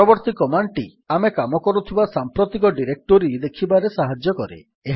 ପରବର୍ତ୍ତୀ କମାଣ୍ଡ୍ ଟି ଆମେ କାମକରୁଥିବା ସାମ୍ପ୍ରତିକ ଡିରେକ୍ଟୋରୀ ଦେଖିବାରେ ସାହାଯ୍ୟ କରେ